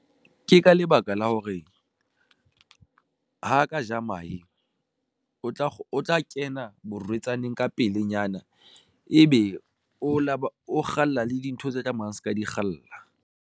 Ke ka lebaka la hore ha ka ja mahe, o tla kena borwetsana ka pelenyana ebe o lo ba o kgalla le dintho tse tla mang se ka di kgalla.